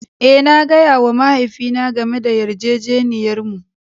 Eh, na gaya wa mahaifina game da yarjejeniyarmu.